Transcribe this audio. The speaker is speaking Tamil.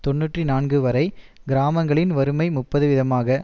தொன்னூற்றி நான்கு வரை கிராமங்களில் வறுமை முப்பது வீதமாக